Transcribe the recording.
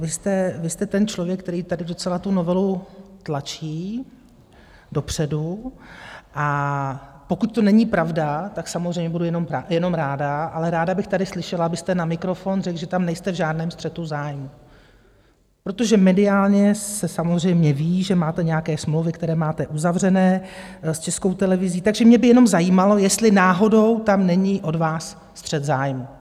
Vy jste ten člověk, který tady docela tu novelu tlačí dopředu, a pokud to není pravda, tak samozřejmě budu jenom ráda, ale ráda bych tady slyšela, abyste na mikrofon řekl, že tam nejste v žádném střetu zájmů, protože mediálně se samozřejmě ví, že máte nějaké smlouvy, které máte uzavřeny s Českou televizí, takže mě by jenom zajímalo, jestli náhodou tam není od vás střet zájmů.